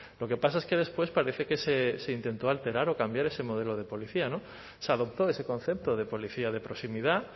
lo que pasa es que después parece que se intentó alterar o cambiar ese modelo de policía se adoptó ese concepto de policía de proximidad